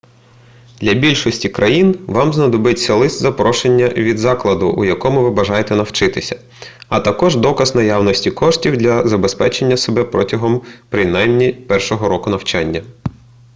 для більшості країн вам знадобиться лист-запрошення від закладу у якому ви бажаєте навчатися а також доказ наявності коштів для забезпечення себе протягом принаймні першого року навчання